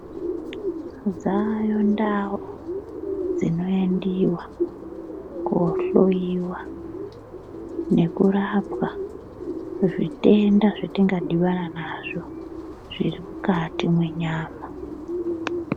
Dzayo ndau dzinoendiva kohloiwa nekurapwa, zvitenda zvetingadhibana nazvo zviri mukati mwenyama.